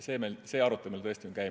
See arutelu meil tõesti käib.